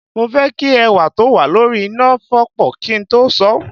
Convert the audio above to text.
Mo fẹ́ kí ẹ̀wà tó wà lórí iná fọ́pọ̀ kí n tó sọ̀ ọ́